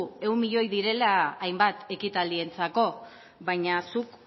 ehun milioi direla hainbat ekitaldientzako baina zuk